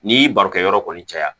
N'i y'i baro kɛ yɔrɔ kɔni caya